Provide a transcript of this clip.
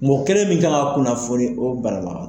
Mɔɔ kɛlen min kan ka kunnafoni o bana na